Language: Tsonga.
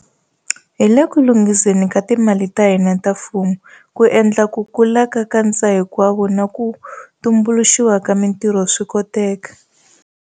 Hi le ku lunghiseni ka timali ta hina ta mfumo ku endla ku kula ka nkatsahinkwavo na ku tumbuluxiwa ka mitirho swi koteka.